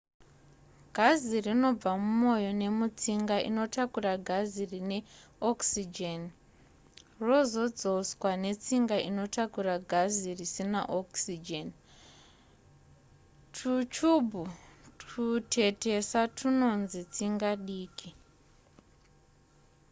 gazi rinobva mumoyo nemutsinga inotakura gazi rine okisijeni rozodzoswa netsinga inotakura gazi risina okisijeni twuchubhu twutetesa twunonzi tsinga diki